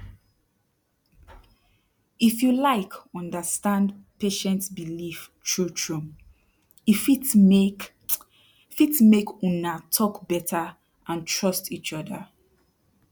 if you like understand patient belief trutru e fit make fit make una talk beta and trust each oda